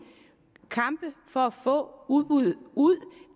kampe for at få udbud ud